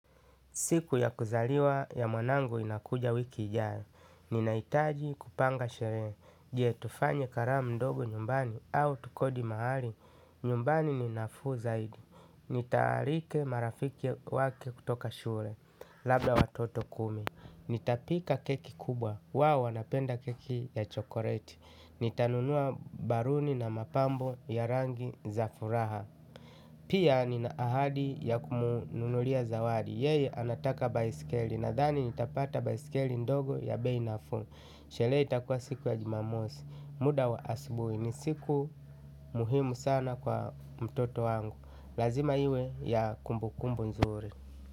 Siku ya kuzaliwa ya mwanangu inakuja wiki ijayo. Ninahitaji kupanga sherehe. Je tufanye karamu ndogo nyumbani au tukodi mahali. Nyumbani ninafuu zaidi. Nitaalika marafiki wake kutoka shule. Labda watoto kumi. Nitapika keki kubwa. Wao wanapenda keki ya chokoleti. Nitanunua baluni na mapambo ya rangi za furaha. Pia ninaahadi ya kumnunulia zawadi. Yeye anataka baisikeli nadhani nitapata baisikeli ndogo ya bei nafuu. Sherehe itakua siku ya jimamosi. Muda wa asubuhi ni siku muhimu sana kwa mtoto wangu. Lazima iwe ya kumbukumbu nzuri.